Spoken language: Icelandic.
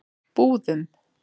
Búðum